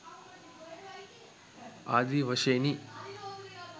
ආදි වශයෙනි.